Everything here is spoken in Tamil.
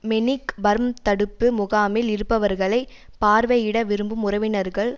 மெனிக் பர்ம் தடுப்பு முகாமில் இருப்பவர்களை பார்வையிட விரும்பும் உறவினர்கள்